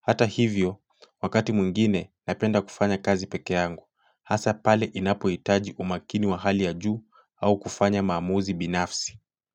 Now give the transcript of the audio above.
Hata hivyo wakati mwingine napenda kufanyakazi peke yangu hasa pale inapohitaji umakini wa hali ya juu au kufanya maamuzi binafsi.